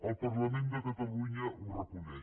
el parlament de catalunya ho reconeix